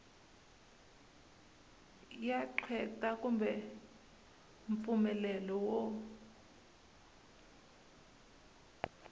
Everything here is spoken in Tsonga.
ya qweta kumbe mpfumelelo wo